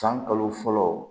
San kalo fɔlɔ